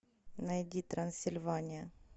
найди трансильвания